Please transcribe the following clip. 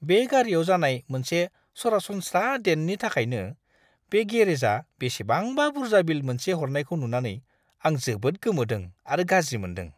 बे गारिआव जानाय मोनसे सरासनस्रा डेन्टनि थाखायनो बे गेरेजा बेसेबांबा बुर्जा बिल मोनसे हरनायखौ नुनानै आं जोबोद गोमोदों आरो गाज्रि मोनदों।